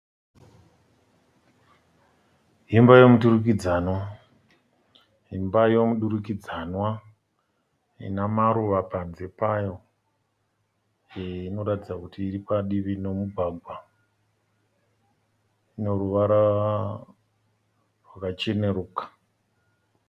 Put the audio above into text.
Imba yomudurikidzanwa ine maruva panze payo inoratidza kuti iri padivi nomugwagwa. Ine ruvara rwakacheneruka.